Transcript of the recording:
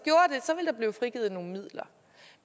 blive frigivet nogle midler